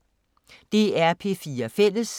DR P4 Fælles